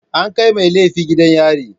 An kai mai laifi gidan yari.